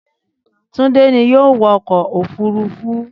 Túndé ni yóò wọkọ̀ òfuurufú.